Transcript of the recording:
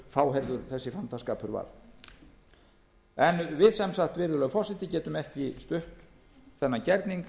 fáheyrður þessi fantaskapur í raun og veru var virðulegi forseti við getum ekki stutt þennan gerning